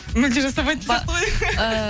мүлде жасамайтын сияқты ғой